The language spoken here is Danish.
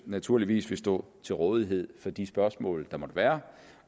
naturligvis vil stå til rådighed for de spørgsmål der måtte være